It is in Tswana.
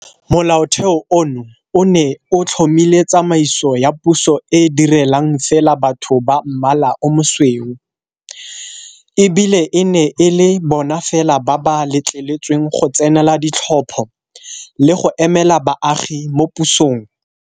Molaotheo ono o ne o tlhomile tsamaiso ya puso e e direlang fela batho ba mmala o mosweu, e bile e ne e le bona fela ba ba letleletsweng go tsenela ditlhopho le go emela baagi mo pusong.